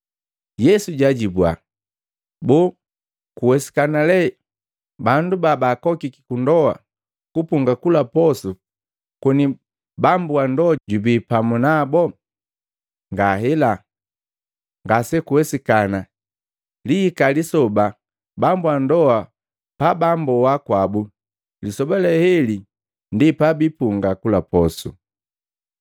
Yesu jajibua, “Boo kuwesikana lee bandu babaakokiki ku ndoa kupunga kula posu koni bambu wa ndoa jubii pamu nabo?” Ngahela, ngasekuwesikana! Liihika lisoba bambu ndoa bamboa kwabu, lisoba leheli ndi pabipunga kula posu.